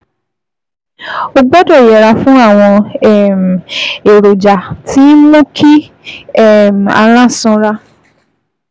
O gbọ́dọ̀ yẹra fún àwọn um èròjà tí ń mú kí um ara sanra